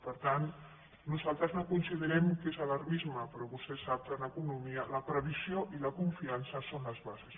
per tant nosaltres no considerem que és alarmisme però vostè sap que en economia la previsió i la confiança són les bases